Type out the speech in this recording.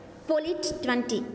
பொலிட் twenty